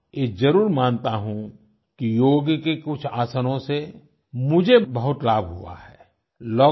हां ये जरूर मानता हूँ योग के कुछ आसनों से मुझे बहुत लाभ हुआ है